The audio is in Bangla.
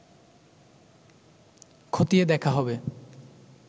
ক্ষতিয়ে দেখা হবে